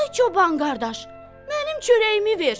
Ay çoban qardaş, mənim çörəyimi ver!